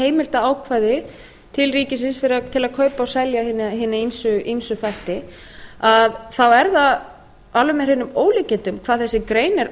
ákvæði til ríkisins til að kaupa og selja hina ýmsu þætti þá er það alveg með hreinum ólíkindum hvað þessi grein er